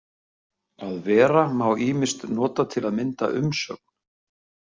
„Að vera“ má ýmist nota til að mynda umsögn.